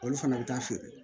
Olu fana bɛ taa feere